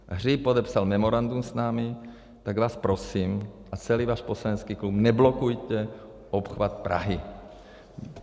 Hřib podepsal memorandum s námi, tak vás prosím, a celý váš poslanecký klub, neblokujte obchvat Prahy.